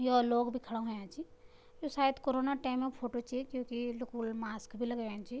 यो लोग भी खड़ा हुयां छी यु सायद कोरोना टाैमों क फोटो च क्युकी लुखुल मास्क भी लगयां छी।